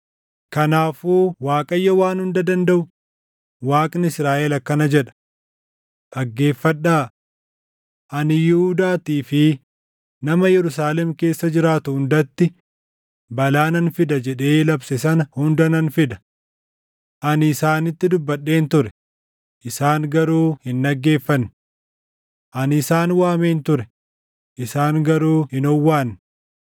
“Kanaafuu Waaqayyo Waan Hunda Dandaʼu, Waaqni Israaʼel akkana jedha: ‘Dhaggeeffadhaa! Ani Yihuudaattii fi nama Yerusaalem keessa jiraatu hundatti balaa nan fida jedhee labse sana hunda nan fida. Ani isaanitti dubbadheen ture; isaan garuu hin dhaggeeffanne. Ani isaan waameen ture; isaan garuu hin owwaanne.’ ”